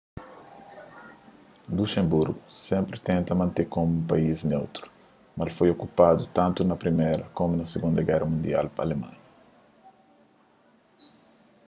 luxemburgu sénpri tenta mante komu un país neutru mas el foi okupadu tantu na priméra komu na sigunda géra mundial pa alemanha